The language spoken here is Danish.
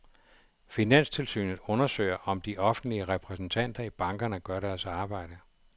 Finanstilsynet undersøger, om de offentlige repræsentanter i bankerne gør deres arbejde.